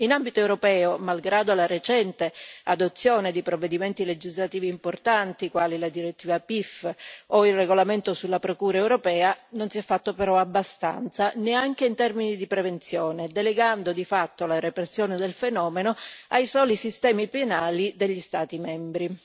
In ambito europeo, malgrado la recente adozione di provvedimenti legislativi importanti quali la direttiva PIF o il regolamento sulla procura europea, non si è fatto però abbastanza, neanche in termini di prevenzione, delegando di fatto la repressione del fenomeno ai soli sistemi penali degli Stati membri.